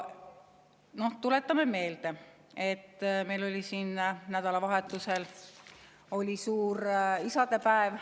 Tuletame meelde, et nädalavahetusel oli meil siin suur isadepäev.